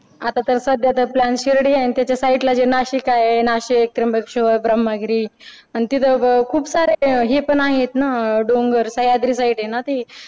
आता तर सध्या तरी plan शिर्डी आहे आणि त्याच्या sidela ला नाशिक आहे नाशिक, त्रंबकेश्वर, ब्रह्मगिरी आणि तिथं खूप सारे हे पण आहेत ना डोंगर सह्याद्री side आहे ना ती